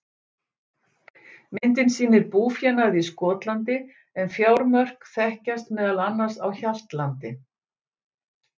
Myndin sýnir búfénað í Skotlandi, en fjármörk þekkjast meðal annars á Hjaltlandi.